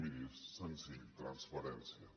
miri és sen·zill transparència